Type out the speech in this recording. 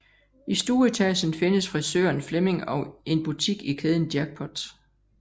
I stueetagen findes frisøren flemming og en butik i kæden jackpot